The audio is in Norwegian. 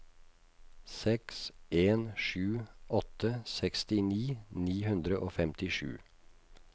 seks en sju åtte sekstini ni hundre og femtisju